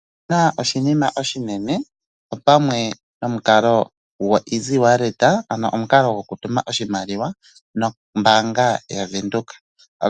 Sindana oshinima oshinene pwamwe nomukalo gokutuma oshimaliwa kongodhi nombaanga yaVenduka.